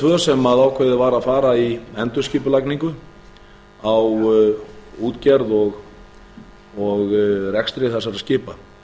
var ákveðið var að fara í endurskipulagningu á útgerð og rekstri þessara skipa